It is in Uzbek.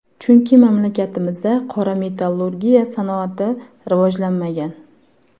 Chunki mamlakatimizda qora metallurgiya sanoati rivojlanmagan.